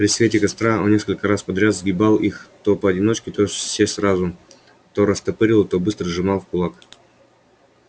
при свете костра он несколько раз подряд сгибал их то поодиночке то все сразу то растопыривал то быстро сжимал в кулак